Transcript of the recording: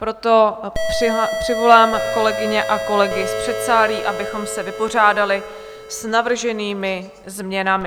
Proto přivolám kolegyně a kolegy z předsálí, abychom se vypořádali s navrženými změnami.